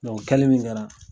o kɛli min kɛra